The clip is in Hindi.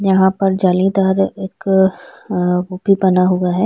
यहाँ पर जालीदार एक बना हुआ है।